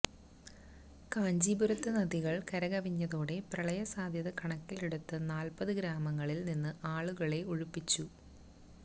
കാഞ്ചീപുരത്ത് നദികള് കരകവിഞ്ഞതോടെ പ്രളയ സാധ്യത കണക്കിലെടുത്ത് നാല്പ്പത് ഗ്രാമങ്ങളില് നിന്ന് ആളുകളെ ഒഴിപ്പിച്ചു